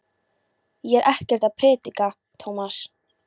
Ég er ekkert að predika, Tómas.